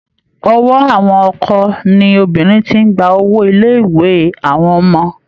Ọwọ́ àwọn ọkọ ni obìnrin ti ń gba owó ilé-ìwé àwọn ọmọ.